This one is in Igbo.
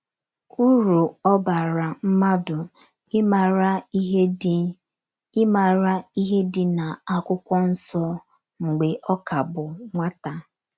Uru ọ bara mmadụ ịmara ihe dị ịmara ihe dị n'akwụkwọ nsọ mgbe ọ ka bụ nwata.